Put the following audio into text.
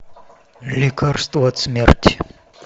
лекарство от смерти